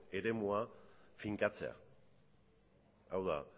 eremua finkatzea hau da